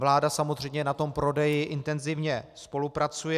Vláda samozřejmě na tom prodeji intenzivně spolupracuje.